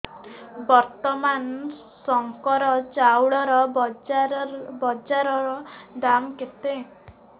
ବର୍ତ୍ତମାନ ଶଙ୍କର ଚାଉଳର ବଜାର ଦାମ୍ କେତେ